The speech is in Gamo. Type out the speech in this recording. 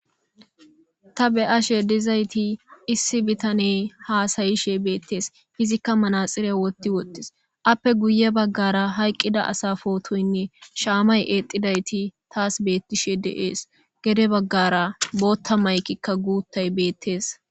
ta be7ashe dizayti issi bitane haasayishe beettees izikka manaxiriye wotti wottees appe guye baggara hayqqida asa footoynne shaamay exidayti taas beettishe deees gede baggara bootta maykikka guuttay beettees